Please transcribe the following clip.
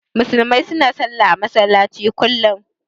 Musulmai su na sallah a masallaci kullum